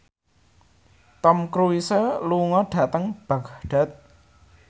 Tom Cruise lunga dhateng Baghdad